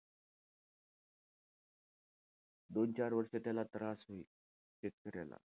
दोन-चार वर्ष त्याला त्रास होईल, शेतकऱ्याला.